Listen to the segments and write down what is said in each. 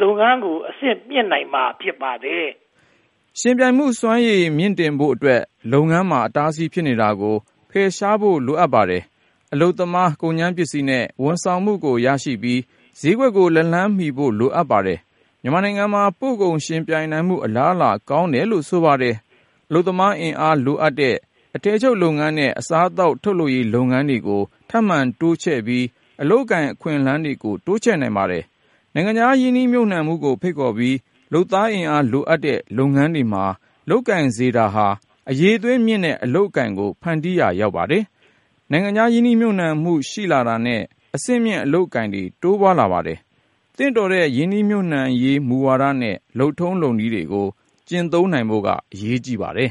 လုပ်ငန်းကို အဆင့်မြင့်နိုင်မှာ ဖြစ်ပါတယ်။ ယှဉ်ပြိုင်မှုစွမ်းရည် မြှင့်တင်ဖို့အတွက် လုပ်ငန်းတွေမှာ အတားအဆီး ဖြစ်နေတာကို ဖယ်ရှားဖို့ လိုပါတယ်။ အလုပ်သမား၊ ကုန်ကြမ်းပစ္စည်းနဲ့ ဝန်ဆောင်မှုတွေကို ရရှိပြီး၊ ဈေးကွက်ကို လက်လှမ်းမီဖို့ လိုအပ်ပါတယ်။ မြန်မာနိုင်ငံမှာ ပို့ကုန်ယှဉ်ပြိုင်နိုင်မှု အလားအလာ ကောင်းတယ်လို့ ဆိုပါတယ်။ အလုပ်သမားအင်အားလိုအပ်တဲ့ အထည်ချုပ်နဲ့ အစားအသောက် ထုတ်လုပ်ရေးလုပ်ငန်းတွေကို ထပ်မံတိုးချဲ့ပြီး အလုပ်အကိုင် အခွင့်အလမ်းတွေ တိုးချဲ့နိုင်ပါတယ်။ နိုင်ငံခြားရင်းနှီးမြုပ်နံှမှုကို ဖိတ်ခေါ်ပြီး လုပ်သားအင်အား လိုအပ်တဲ့ လုပ်ငန်းတွေမှာ လုပ်ကိုင်စေတာဟာ အရည်အသွေးမြင့်တဲ့ အလုပ်အကိုင်ကို ဖန်တီးရာ ရောက်ပါတယ်။ နိုင်ငံခြားရင်းနှီးမြုပ်နံှမှု ရှိလာတာနဲ့ အဆင့်မြင့် အလုပ်အကိုင်တွေ တိုးပွားလာပါတယ်။ သင့်တော်တဲ့ ရင်းနှီးမြုပ်နံှရေးဝါဒနဲ့ လုပ်ထုံးလုပ်နည်းတွေကို ကျင့်သုံးနိုင်ဖို့ အရေးကြီးပါတယ်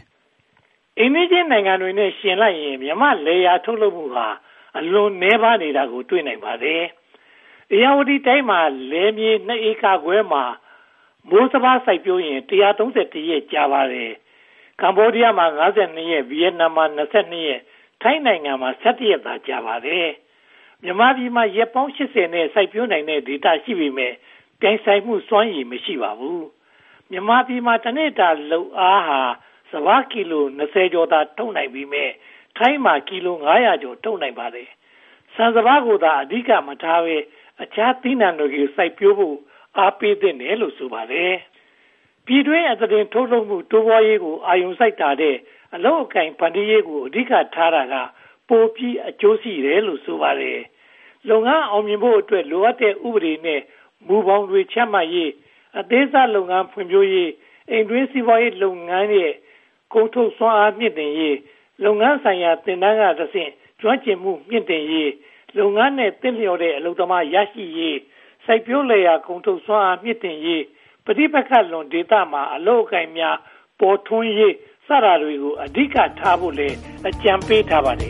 ။ အိမ်နီးချင်းနိုင်ငံတွေနဲ့ ယှဉ်လိုက်ရင် မြန်မာ့လယ်ယာထုတ်လုပ်မှုဟာ အလွန်နည်းပါးနေတာကို တွေ့နိုင်ပါတယ်။ ဧရာဝတီတိုင်းမှာ လယ်မြေ (၂) ဧကခွဲမှာ မိုးစပါး စိုက်ပျိုးရင် (၁၃၁) ရက် ကြာပါတယ်။ ကမ္ဘောဒီးယားမှာ (၅၂) ရက်၊ ဗိယက်နမ်မှာ (၂၂)၊ ထိုင်းနိုင်ငံမှာ (၁၁) ရက်သာ ကြာပါတယ်။ မြန်မာပြည်မှာ ရက်ပေါင်း (၈၀) နဲ့ စိုက်ပျိုးနိုင်တဲ့ ဒေသ ရှိပေမယ့် ပြိုင်ဆိုင်မှုစွမ်းရည် မရှိပါဘူး။ မြန်မာပြည်မှာ တနေ့တာလုပ်အားက စပါးကီလို (၂၀) ကျော်သာ ထုတ်နိုင်ပေမယ့် ထိုင်းမှာ ကီလို (၅၀၀) ကျော် ထုတ်နိုင်ပါတယ်။ ဆန်စပါးကိုသာ အဓိက မထားဘဲ၊ အခြားသီးနံှတွေကိုသာ စိုက်ပျိုးဖို့ အားပေးသင့်တယ်လို့ ဆိုပါတယ်။ ပြည်တွင်းအသားတင် ထုတ်လုပ်မှု တိုးပွားရေးကို အာရုံစိုက်တာထက် အလုပ်အကိုင် ဖန်တီးရေးကို အဓိကထားတာက ပိုပြီးအကျိုးရှိတယ်လို့ ဆိုပါတယ်။ လုပ်ငန်းအောင်မြင်ဖို့အတွက် လိုအပ်တဲ့ ဥပဒေနဲ့ မူဘောင်တွေ ချမှတ်ပေးရေး၊ အသေးစားလုပ်ငန်း ဖွံ့ဖြိုးရေး၊ အိမ်တွင်းစီးပွားရေးလုပ်ငန်းရဲ့ ကုန်ထုတ်စွမ်းအားမြှင့်တင်ရေး၊ လုပ်ငန်းဆိုင်ရာ သင်တန်းကတဆင့် ကျွမ်းကျင်မှုမြှင့်တင်ရေး၊ လုပ်ငန်းနဲ့ သင့်လျော်တဲ့ အလုပ်သမား ရရှိရေး၊ စိုက်ပျိုးလယ်ယာ ကုန်ထုတ်စွမ်းအားမြှင့်တင်ရေး၊ ပဋိပက္ခလွန် ဒေသတွေမှာ အလုပ်အကိုင်များ ပေါ်ထွန်းလာရေး စသည်တို့ကို အဓိကထားဖို့ အကြံပေးထားပါတယ်